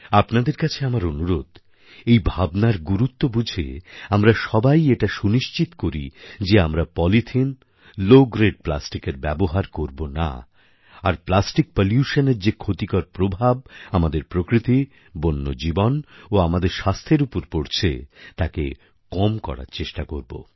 আপনাদের কাছে আমার অনুরোধ এই ভাবনার গুরুত্ব বুঝে আমরা সবাই এটা সুনিশ্চিত করি যে আমরা পলিথিন লো গ্রেড প্লাস্টিকের ব্যবহার করব না আর প্লাস্টিক পলিউশানএর যে ক্ষতিকর প্রভাব আমাদের প্রকৃতি বন্য জীবন ও আমাদের স্বাস্থ্যের উপর পড়ছে তাকে কম করার চেষ্টা করব